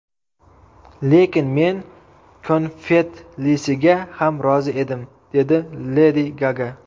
Lekin men konfetlisiga ham rozi edim”, dedi Ledi Gaga.